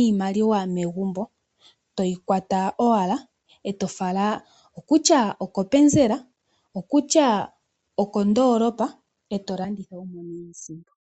iimaliwa megumbo, uuna we yi kwata e toyi fala kopenzela nenge kondoolopa e to landitha wu mone mo iisimpo.